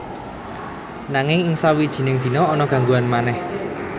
Nanging ing sawijining dina ana gangguan manèh